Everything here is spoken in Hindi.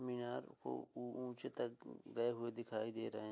मिनार को ऊ ऊँचे तक गए हुए दिखाई दे रहे हैं।